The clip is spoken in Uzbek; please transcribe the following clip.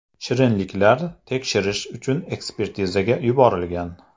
Shirinliklar tekshirish uchun ekspertizaga yuborilgan.